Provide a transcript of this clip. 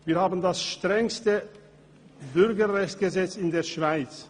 Wir haben das strengste Bürgerrechtsgesetz in der Schweiz.